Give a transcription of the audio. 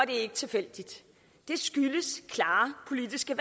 ikke tilfældigt det skyldes klare politiske